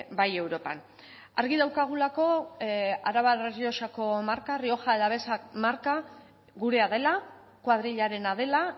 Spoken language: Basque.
bai europan argi daukagulako arabar errioxako marka rioja alavesa marka gurea dela koadrilarena dela